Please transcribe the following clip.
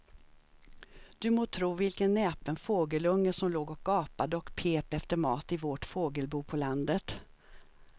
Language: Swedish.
Du må tro vilken näpen fågelunge som låg och gapade och pep efter mat i vårt fågelbo på landet.